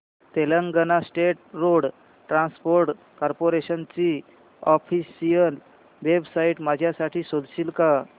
Telangana state road transport corporation ची official website माझ्यासाठी शोधशील का